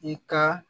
I ka